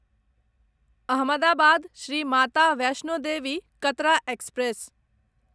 Ahmedabad Shri Mata Vaishno Devi Katra express